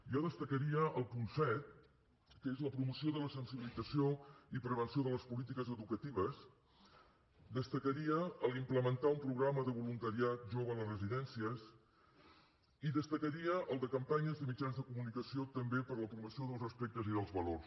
jo destacaria el punt set que és la promoció de la sensibilització i prevenció de les polítiques educatives destacaria implementar un programa de voluntariat jove a les residències i destacaria el de campanyes de mitjans de comunicació també per a la promoció del respecte i dels valors